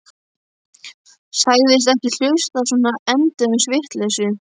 Sagðist ekki hlusta á svona endemis vitleysu.